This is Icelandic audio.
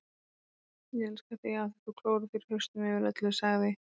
Ég elska þig af því þú klórar þér í hausnum yfir öllu, sagði